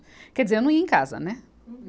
Quer dizer, eu não ia em casa, né?